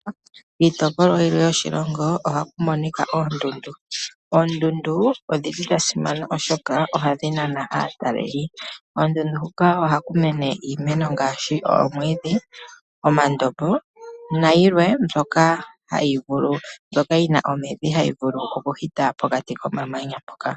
Kiitopolwa yilwe yoshilongo oha ku monika oondundu. Oondundu odhili dha simana oshoka ohadhi nana aatalelipo. Koondundu hoka oha ku mene iimeno ngaashi omwiidhi, omandombo nayilwe mbyoka yi na omidhi hayi vulu okuhita pokati komamanya mpoka.